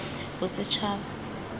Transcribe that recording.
bosetshaba